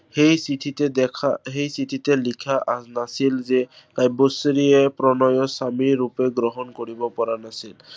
সেই চিঠিতে দেখা, সেই চিঠিতে লিখা আহ নাছিল যে কাব্যশ্ৰীয়ে প্ৰণয়ক স্বামী ৰূপে গ্ৰহণ কৰিব পৰা নাছিল।